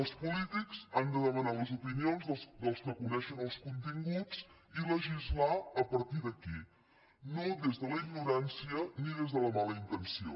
els polítics han de demanar les opinions dels que coneixen els continguts i legislar a partir d’aquí no des de la ignorància ni des de la mala intenció